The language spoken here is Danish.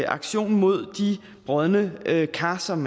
aktion mod de brodne kar som